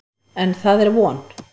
En, það er von!